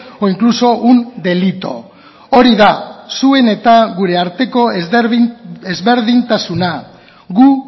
o incluso un delito hori da zuen eta gure arteko ezberdintasuna gu